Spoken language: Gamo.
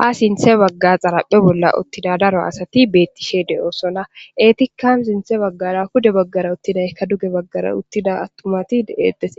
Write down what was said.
Ha sinthe bagga xaraphe bolla uttida daro asati beettishe de'oosona eetikkan sinthe baggara hude baggara uttida ka duge baggara uttida attumati